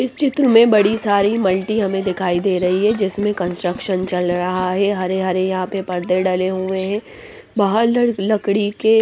इस चित्र में बड़ी सारी मल्टी हमें दिखाई दे रही हैं जिसमें कंस्ट्रक्शन चल रहा हैं हरे हरे यहाँ पर पर्दे डले हुए हैं बाहर लकड़ी के--